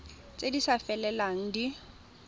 tse di sa felelang di